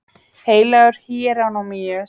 Heilagur Híerónýmus samdi ævisögu þessa